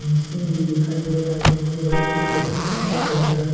Machine भी दिखाई दे रहा है जिस पे वाइट कलर का पेंट किया गया है।